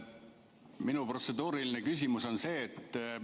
Minu protseduuriline küsimus on selline.